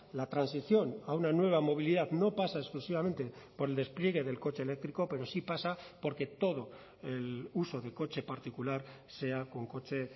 la transición a una nueva movilidad no pasa exclusivamente por el despliegue del coche eléctrico pero sí pasa porque todo el uso de coche particular sea con coche